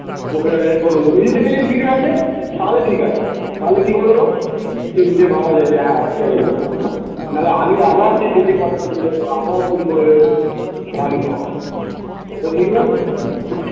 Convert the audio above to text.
ওকে আমি এ করবো নিজে থেকে যদি ফিরে আসে তাহলে ঠিক আছে তাহলে কি করবো ভাবা যায় যে হ্যাঁ সেটাই হোক নাহলে আমি আবার সেই যেচে কথা তুলতে যাবো আবার চুরি করবে তো ঠিক নয় তো